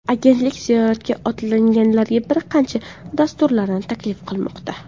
Agentlik ziyoratga otlanganlarga bir qancha dasturlarni taklif qilmoqda.